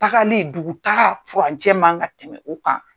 Tagali dugu taga furancɛ man kan ka tɛmɛ o kan.